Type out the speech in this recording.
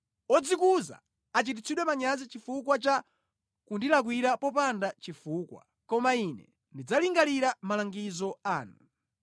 Odzikuza achititsidwe manyazi chifukwa cha kundilakwira popanda chifukwa; koma ine ndidzalingalira malangizo anu.